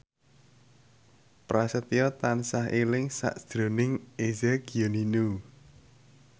Prasetyo tansah eling sakjroning Eza Gionino